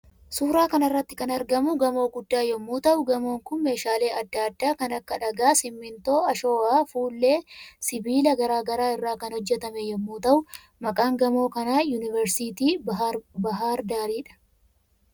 Suuraa kanarratti kan argamu gamoo guddaa yommuu ta'u gamoon Kun meeshalle adda adda kan Akka dhagaa, simintoo, ashowaa, fuullee, sibilaa garaa garaa irra kan hojjetame yommu ta, uu maqaan gamoo kana yuuniveersiiti baahirdaaridha.